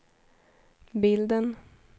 bilden